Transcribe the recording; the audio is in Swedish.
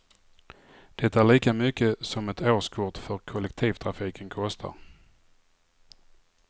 Det är lika mycket som ett årskort för kollektivtrafiken kostar.